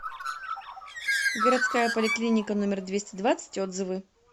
городская поликлиника номер двести двадцать отзывы